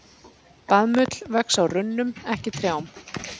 Baðmull vex á runnum, ekki trjám.